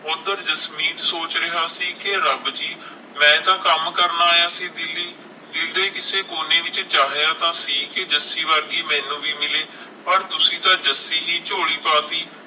ਉਧਰ ਜਸਮੀਤ ਮੈਂ ਸੋਚ ਰਿਹਾ ਸੀ ਕਿ ਰੱਬ ਜੀ ਮੈਂ ਤਾਂ ਕੰਮ ਕਰਨ ਆਇਆ ਸੀ ਦਿੱਲੀ, ਦਿਲ ਦੇ ਕਿਸੇ ਕੋਨੇ ਵਿਚ ਕੀਤੇ ਚਾਹਿਆ ਸੀ ਕਿ ਜੱਸੀ ਵਰਗੀ ਮੈਨੂੰ ਵੀ ਮਿਲੇ ਪਰ ਤੁਸੀ ਤਾਂ ਜੱਸੀ ਹੀ ਝੋਲੀ ਪਾ ਤੀ